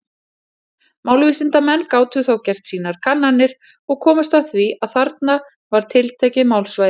Málvísindamenn gátu þá gert sínar kannanir, og komust að því að þarna var tiltekið málsvæði.